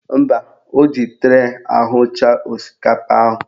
Mba, o ji tray ahụcha osikapa ahụ